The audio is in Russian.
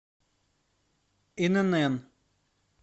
инн